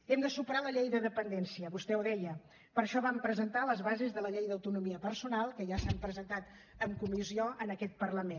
hem de superar la llei de dependència vostè ho deia per això vam presentar les bases de la llei d’autonomia personal que ja s’han presentat en comissió en aquest parlament